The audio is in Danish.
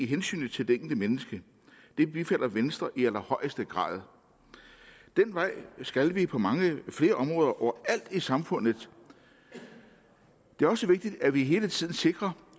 hensynet til det enkelte menneske det bifalder venstre i allerhøjeste grad den vej skal vi gå på mange flere områder og over alt i samfundet det er også vigtigt at vi hele tiden sikrer